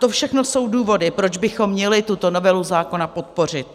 To všechno jsou důvody, proč bychom měli tuto novelu zákona podpořit.